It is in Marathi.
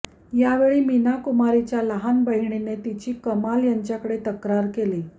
यावेळी मीना कुमारीच्या लहान बहिणीने तिची कमाल यांच्याकडे तक्रार केली